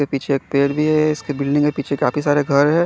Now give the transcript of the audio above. पीछे एक पेड़ भी है इसके बिल्डिंग है पीछे काफी सारे घर है।